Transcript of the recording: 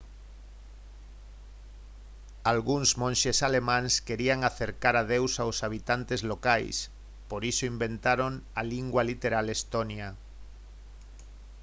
algúns monxes alemáns querían acercar a deus aos habitantes locais por iso inventaron a lingua literal estonia